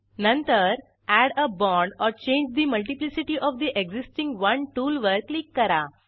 नंतर add a bond or change the multiplicity of the existing one टूलवर click करा